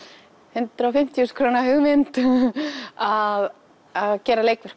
hundrað og fimmtíu þúsund króna hugmynd að gera leikverk